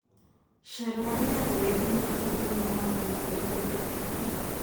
carararĩa ũraĩhu mũkuhe mũno wa mũena ũrĩa urendekana